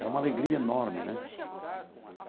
Era uma alegria enorme, né?